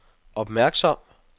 opmærksom